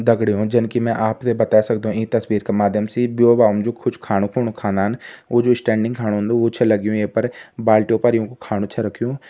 दगड़ियों जन की में आपथें बता सकदुं इं तस्वीर के माध्यम से इ ब्यों म जो कुछ खाणुकुं खानन वो जो स्टैंडिंग खड़ा हुंदु वु छै लग्युं ये पर बाल्टियों पर युंकू खाणु छै रखयूं।